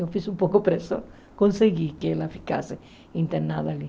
Eu fiz um pouco pressão, consegui que ela ficasse internada ali.